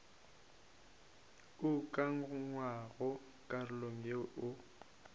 o ukangwago karolong yeo o